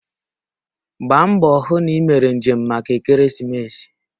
Gbaa mbọ hụ na ị mere njem maka ekeresimesi